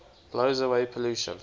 blows away pollution